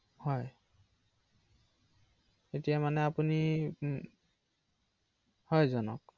অ এতিয়া মোৰ